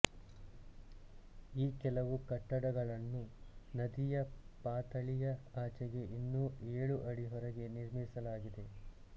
ಈ ಕೆಲವು ಕಟ್ಟಡಗಳನ್ನು ನದಿಯ ಪಾತಳಿಯ ಆಚೆಗೆ ಇನ್ನೂ ಏಳು ಅಡಿ ಹೊರಗೆ ನಿರ್ಮಿಸಲಾಗಿದೆ